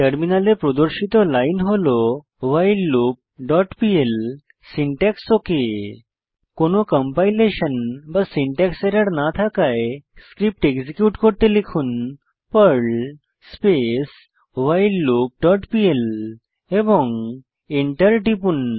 টার্মিনালে প্রদর্শিত লাইন হল whileloopপিএল সিনট্যাক্স ওক কোনো কম্পাইলেশন বা সিনট্যাক্স এরর না থাকায় স্ক্রিপ্ট এক্সিকিউট করতে লিখুন Perl space while loop dot PL এবং এন্টার টিপুন